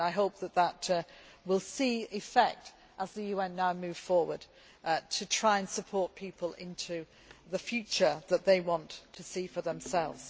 process. I hope that this will see effect, as the UN now moves forward to try to support people into the future that they want to see for themselves.